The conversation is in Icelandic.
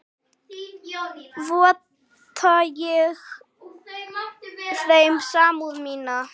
Votta ég þeim samúð mína.